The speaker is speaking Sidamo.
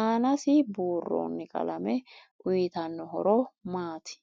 aanasi buurooni qalame uyiitanno horo maati